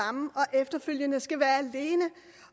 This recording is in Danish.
efterfølgende skal være er